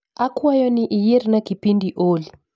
Akwayo ni iyierna kipindi olly